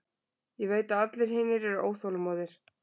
Ég veit að allir hinir eru óþolinmóðir.